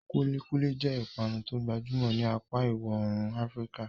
Kulikuli jẹ́ ìpanu tó gbajúmọ̀ ní apá ìwọ̀ oòrùn Afíríkà.